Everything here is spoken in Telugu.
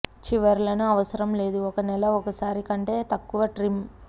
చివరలను అవసరం లేదు ఒక నెల ఒకసారి కంటే తక్కువ ట్రిమ్